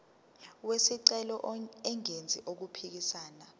wesicelo engenzi okuphikisana